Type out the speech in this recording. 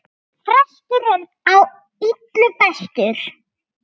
Frestur er á illu bestur!